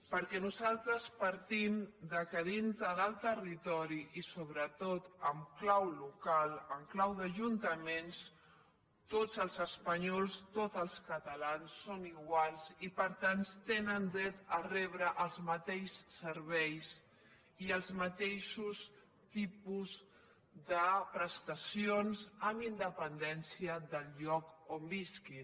perquè nosaltres partim del fet que dintre del territori i sobretot en clau local en clau d’ajuntaments tots els espanyols tots els catalans són iguals i per tant tenen dret a rebre els mateixos serveis i els mateixos tipus de prestacions amb independència del lloc on visquin